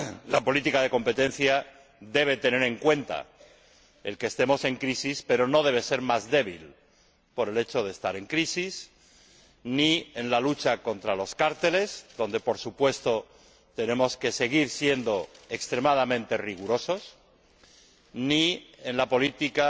la política de competencia debe tener en cuenta el que estemos en crisis, pero no debe ser más débil por el hecho de estar en crisis ni en la lucha contra los cárteles, donde, por supuesto, tenemos que seguir siendo extremadamente rigurosos, ni en la política,